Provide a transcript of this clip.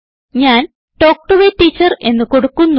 ഞാൻ talk to A teacher എന്ന് കൊടുക്കുന്നു